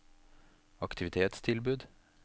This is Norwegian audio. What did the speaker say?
aktivitetstilbud